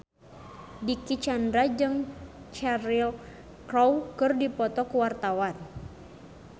Dicky Chandra jeung Cheryl Crow keur dipoto ku wartawan